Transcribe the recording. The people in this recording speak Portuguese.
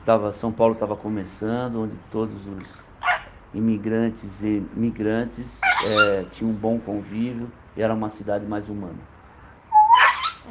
Estava São Paulo estava começando, onde todos os imigrantes e migrantes eh tinham um bom convívio, e era uma cidade mais humana.